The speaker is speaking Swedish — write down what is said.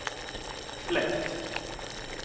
fläkt